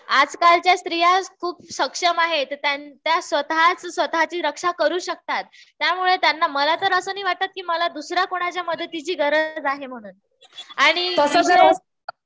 आजकालच्या स्त्रिया खूप सक्षम आहेत. त्या स्वतः स्वतःची रक्षा करू शकतात. त्यामुळे त्यांना मला तर असं नाही वाटत की मला दुसऱ्या कोणाच्या मदतीची गरज आहे म्हणून. आणि विशेष